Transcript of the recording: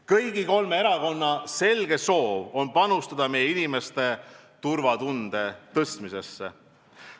Kõigi kolme erakonna selge soov on panustada meie inimeste turvatunde suurendamisse.